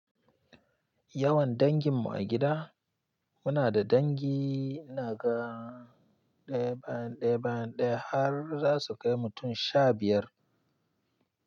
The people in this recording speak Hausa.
Yawan dangin mu a gida muna da dangi ina ga ɗaya bayan ɗaya har za su kai mutum sha biyar.